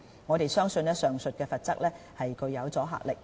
我們相信上述罰則具有阻嚇力。